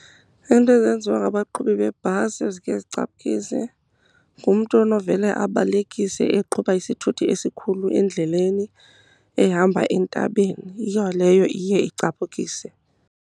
Iinto ezenziwa ngabaqhubi bebhasi ezike zicaphukile, ngumntu onovele abalekise eqhuba isithuthi esikhulu endleleni ehamba entabeni. Yiyo leyo iye icaphukise.